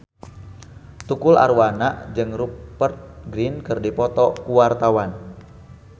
Tukul Arwana jeung Rupert Grin keur dipoto ku wartawan